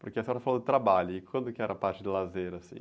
Porque a senhora falou do trabalho, e quando que era a parte de lazer, assim?